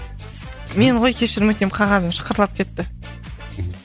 мен ғой кешірім өтінем қағазым шықырлап кетті